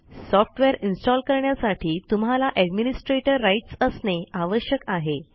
software install करण्यासाठी तुम्हाला administrator rights असणे आवश्यक आहे